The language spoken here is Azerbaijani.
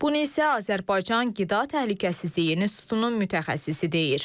Bunu isə Azərbaycan Qida Təhlükəsizliyi Xidmətinin mütəxəssisi deyir.